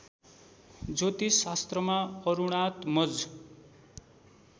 ज्योतिषशास्त्रमा अरुणात्मज